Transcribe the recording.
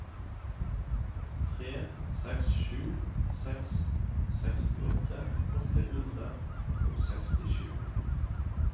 tre seks sju seks sekstiåtte åtte hundre og sekstisju